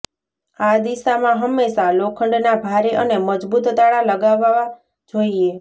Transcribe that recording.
આ દિશામાં હંમેશા લોખંડના ભારે અને મજબૂત તાળા લગાવવા જોઇએ